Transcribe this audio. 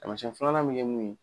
Taamasiyɛn filanan bɛ kɛ mun ye